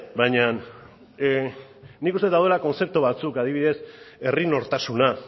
bainan nik uste dut daudela kontzeptu batzuk adibidez herri nortasuna